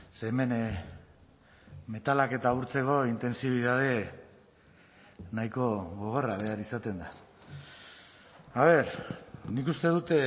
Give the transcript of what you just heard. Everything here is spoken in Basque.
ze hemen metalak eta urtzeko intentsibitate nahiko gogorra behar izaten da a ver nik uste dut